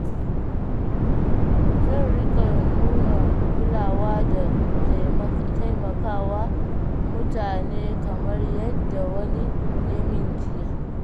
Zan riƙa nuna kulawa da taimakawa mutane kamar yadda wani ya min jiya.